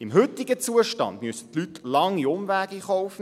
Im heutigen Zustand müssen die Leute lange Umwege in Kauf nehmen.